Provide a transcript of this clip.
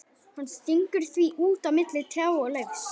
Hann stingur því út á milli trjáa og laufs.